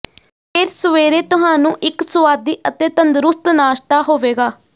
ਫਿਰ ਸਵੇਰੇ ਤੁਹਾਨੂੰ ਇੱਕ ਸੁਆਦੀ ਅਤੇ ਤੰਦਰੁਸਤ ਨਾਸ਼ਤਾ ਹੋਵੇਗਾ